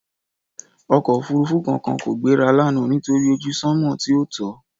Ọkọ òfuurufú kankan kò gbéra lánàá nítorí ojú sanmọ tí ò tọ́.